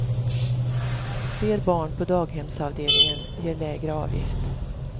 Fler barn på daghemsavdelningen ger lägre avgift.